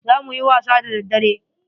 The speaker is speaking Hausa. Za muyi wasa da daddare.